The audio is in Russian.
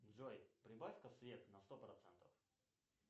джой прибавь ка свет на сто процентов